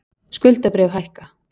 Skuldabréf hækka